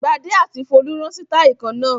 Gbadé àti Folú rán sítáálì kan náà.